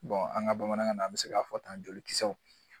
an ka bamanankan na an bɛ se k'a fɔ tan joli kisɛw